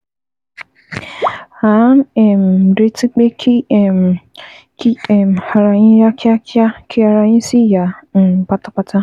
À ń um retí pé kí um kí um ara yín yá kíákíá, kí ara yín sì yá um pátápátá